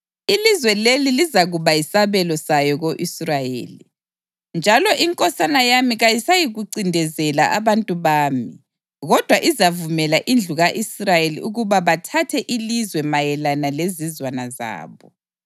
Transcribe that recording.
Ilizwe leli lizakuba yisabelo sayo ko-Israyeli. Njalo inkosana yami kayisayikuncindezela abantu bami kodwa izavumela indlu ka-Israyeli ukuba bathathe ilizwe mayelana lezizwana zabo.